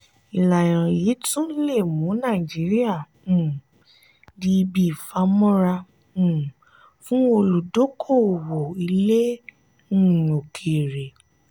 ìlànà yìí tún le mú nàìjíríà um di ibi ìfàmọ́ra um fún olùdókówó ilé um òkèèrè.